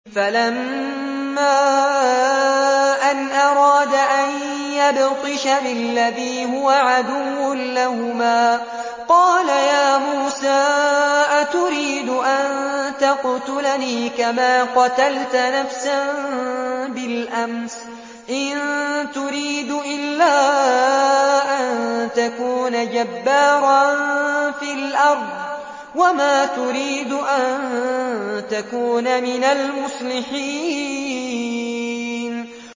فَلَمَّا أَنْ أَرَادَ أَن يَبْطِشَ بِالَّذِي هُوَ عَدُوٌّ لَّهُمَا قَالَ يَا مُوسَىٰ أَتُرِيدُ أَن تَقْتُلَنِي كَمَا قَتَلْتَ نَفْسًا بِالْأَمْسِ ۖ إِن تُرِيدُ إِلَّا أَن تَكُونَ جَبَّارًا فِي الْأَرْضِ وَمَا تُرِيدُ أَن تَكُونَ مِنَ الْمُصْلِحِينَ